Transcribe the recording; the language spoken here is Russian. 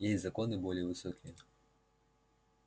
есть законы более высокие